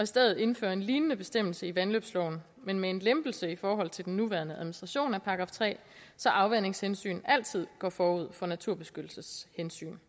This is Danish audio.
stedet indføre en lignende bestemmelse i vandløbsloven men med en lempelse i forhold til den nuværende administration af § tre så afvandingshensyn altid går forud for naturbeskyttelseshensyn